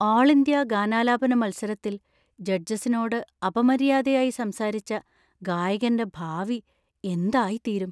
ആള്‍ ഇന്ത്യ ഗാനാലാപന മത്സരത്തില്‍ ജഡ്ജസിനോട് അപമര്യാദയായി സംസാരിച്ച ഗായകന്‍റെ ഭാവി എന്തായിത്തീരും.